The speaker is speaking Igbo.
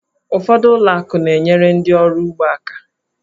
Ụfọdụ ụlọ akụ na-enyere ndị oru ugbo aka.